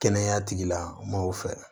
Kɛnɛya tigi lamɔgɔw fɛ